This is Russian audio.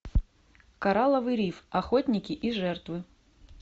коралловый риф охотники и жертвы